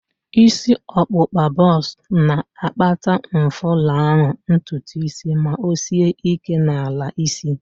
Isi ọkpụkpa bọks na-akpata mfulahu ntutu isi ma o sie ike n'ala isi